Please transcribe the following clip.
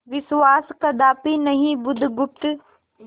विश्वास कदापि नहीं बुधगुप्त